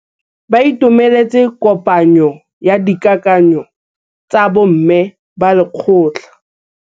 Ba itumeletse kôpanyo ya dikakanyô tsa bo mme ba lekgotla.